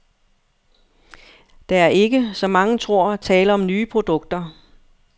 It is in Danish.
Der er ikke, som mange tror, tale om nye produkter.